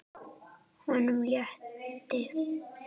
Honum létti.